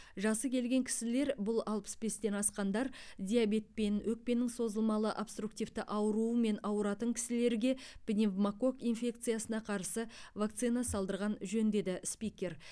жасы келген кісілер бұл алпыс бестен асқандар диабетпен өкпенің созылмалы обструктивті ауруымен ауыратын кісілерге пневмококк инфекциясына қарсы вакцина салдырған жөн деді спикер